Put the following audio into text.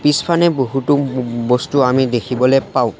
পিছফানে বহুতো ও ও বস্তু আমি দেখিবলৈ পাওঁ।